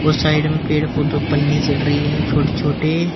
उस साइड में पेड़ पौधों उपर निचे ट्री है छोटे छोटे--